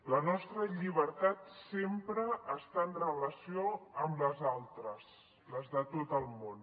la nostra llibertat sempre està en relació amb les altres les de tot el món